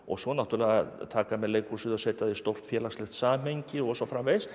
svo náttúrulega taka menn leikhúsið og setja í stórt félagslegt samhengi og svo framvegis